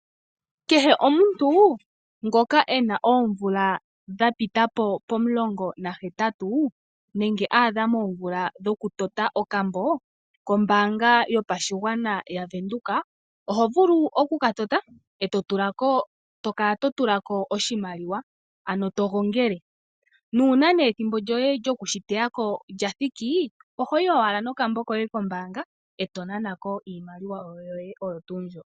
Kehe omuntu ngoka ena oomvula dhapitapo pomulongo nahetatu nenge aadha moomvula dhokutota okambo kombaanga yopashigwana yaVenduka ohovulu okukatota eto kala totulako oshimaliwa ano togongele, nuuna ne ethimbo lyokushiteyako lyathiki ohoyi owala nokambo koye kombaanga eto nana ko iimaliwa yoye oyo tuu mbyo.